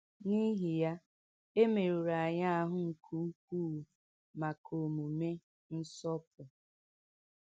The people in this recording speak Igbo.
N’ihi ya, e mèrùrù anyị ahụ̀ nke ukwuu maka omume “nsọpụ.”